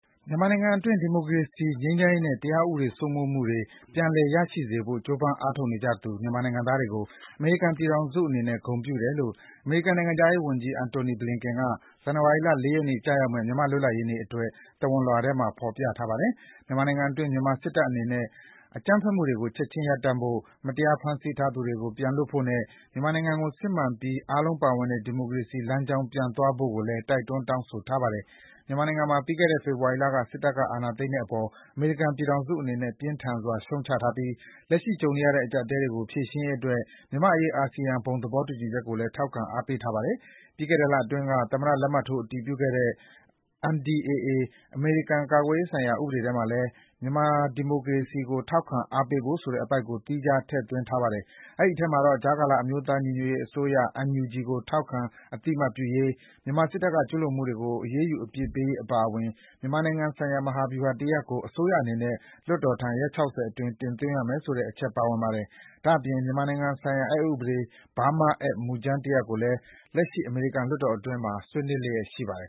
မြန်မာနိုင်ငံတွင်း ဒီမိုကရေစီရေး ငြိမ်ချမ်းရေးနဲ့ တရားဥပဒေစိုးမိုးမှုတွေ ပြန်လည်ရရှိစေဖို့ ကြိုးပမ်းအားထုတ်နေကြသူ မြန်မာနိုင်ငံသားတွေကို အမေရိကန်ပြည်ထောင်စုအနေနဲ့ ဂုဏ်ပြုတယ်လို့ အမေရိကန်နိုင်ငံခြားရေးဝန်ကြီး Antony Blinken က ဇန်နဝါရီလ ၄ ရက်နေ့ ကျရောက်မယ့် မြန်မာ့လွတ်လပ်ရေးနေ့အတွက် သဝဏ်လွှာထဲ ဖော်ပြပါတယ်။ မြန်မာနိုင်ငံတွင်း မြန်မာစစ်တပ်အနေနဲ့ အကြမ်းဖက်မှုတွေကို ချက်ခြင်းရပ်တန့်ဖို့၊ မတရား ဖမ်းဆီးထားသူတွေကို ပြန်လွှတ်ဖို့နဲ့ မြန်မာနိုင်ငံကို စစ်မှန်ပြီးအားလုံးပါဝင်တဲ့ ဒီမိုကရေစီလမ်းကြောင်းပြန်သွားဖို့ကိုလည်း တိုက်တွန်းတောင်းဆိုထားပါတယ်။ မြန်မာနိုင်ငံမှာ ပြီးခဲ့တဲ့နှစ် ဖေဖော်ဝါရီလက စစ်တပ်အာဏာသိမ်းတဲ့အပေါ် အမေရိကန်ပြည်ထောင်စုအနေနဲ့ ပြင်းထန်စွာရှုတ်ချထားပြီး လက်ရှိကြုံနေရတဲ့အကြပ်အတည်းတွေကို ဖြေရှင်းရေးအတွက် မြန်မာ့အရေး အာဆီယံဘုံသဘောတူညီချက်ကိုလည်း ထောက်ခံအားပေးထားပါတယ်။ ပြီးခဲ့တဲ့ လအတွင်းက သမ္မတလက်မှတ်ထိုးအတည်ပြုခဲ့တဲ့ NDAA အမေရိကန်ကာကွယ်ရေးဆိုင်ရာဥပဒေထဲမှာလည်း မြန်မာဒီမိုကရေစီကိုထောက်ခံအားပေးဖို့ဆိုတဲ့ အပိုဒ်ကို သီးခြားထည့်ထားပါတယ်။ အဲဒီထဲမှာတော့ ကြားကာလအမျိုးသားညီညွတ်ရေးအစိုးရ NUG ကို ထောက်ခံအသိအမှတ်ပြုရေး၊ မြန်မာစစ်တပ်ကကျူးလွန်မှုတွေကို အရေးယူအပြစ်ပေးရေးအပါအဝင် မြန်မာနိုင်ငံဆိုင်ရာမဟာဗျူဟာတရပ်ကို အစိုးရအနေနဲ့ လွှတ်တော်ထံ ရက် ၆၀ အတွင်း အစီရင်ခံရမယ်ဆိုတဲ့အချက်ပါဝင်ပါတယ်။ ဒါ့အပြင် မြန်မာနိုင်ငံဆိုင်ရာအက်ဥပဒေ Burma Act မူကြမ်းတရပ်ကိုလည်း လက်ရှိ အမေရိကန်လွှတ်တော်အတွင်းမှာ ဆွေးနွေးလျှက်ရှိပါတယ်